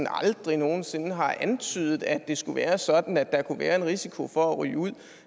aldrig nogen sinde har antydet at det skulle være sådan at der kunne være en risiko for at ryge ud